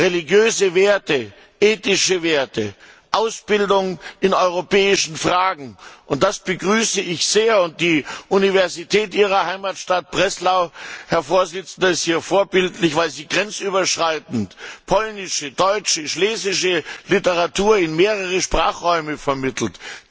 religiöse Werte, ethische Werte, Ausbildung in europäischen Fragen. Das begrüße ich sehr. Die Universität Ihrer Heimatstadt Breslau, Herr Präsident, ist hier vorbildlich, weil sie grenzüberschreitend polnische, deutsche und schlesische Literatur in mehrere Sprachräume vermittelt.